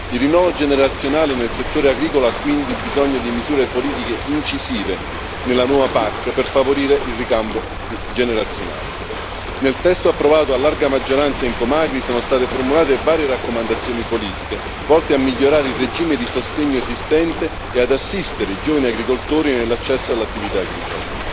Il rinnovo generazionale nel settore agricolo ha quindi bisogno di misure politiche incisive nella nuova PAC per favorire il ricambio generazionale. Nel testo approvato a larga maggioranza in commissione AGRI sono state formulate varie raccomandazioni politiche volte a migliorare il regime di sostegno esistente e ad assistere i giovani agricoltori nell'accesso all'attività agricola.